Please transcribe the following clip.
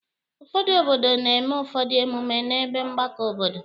Ụfọdụ obodo na-eme ụfọdụ emume n'ebe mgbakọ obodo.